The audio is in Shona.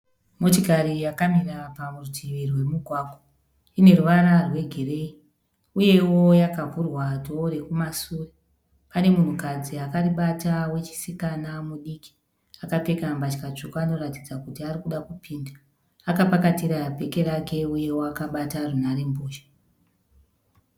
Motikari yakamira parutivi rwemugwagwa. Ine ruvara rwegireyi uyewo yakavhurwa dhoo rekumasure. Pane munhukadzi akaribata wechisikana mudiki, akapfeka mbatya tsvuku anoratidza kuti ari kuda kupinda. Akapakatira bheki rake uyewo akabata runhare mbozha.